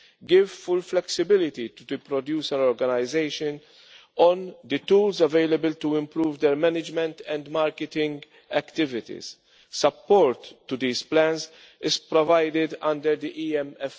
give full flexibility to the producer organisations concerning the tools available to improve their management and marketing activities. Support to these plans is provided under the EMFF.